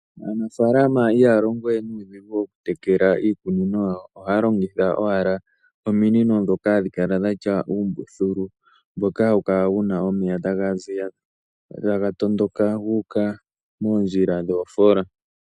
Aanafalama ihaya longo we nuudhigu okutekela iikunino yawo ohaya longitha owala ominino ndhoka hadhi kala dhatya uumbuthulu mboka hawu kala wuna omeya taga ziya taga toondoka guuka moondjila dhoofola.